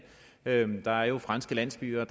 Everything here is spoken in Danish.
landet der er jo franske landsbyer